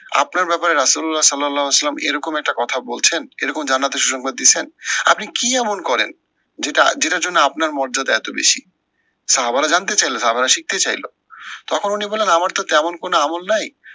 আপনার ব্যাপারে সালাউল্লা ইসলাম এরকম একটা কথা বলছেন, এরকম জান্নাতের সুসংবাদ দিছেন, আপনি কি এমন করেন যেটা যেটার জন্য আপনার মর্যাদা এত বেশি? সাহাবারা জানতে চাইলো সাহাবরা শিখতে চাইলো । তখন উনি বললেন আমার তো তেমন কোনো আমূল নাই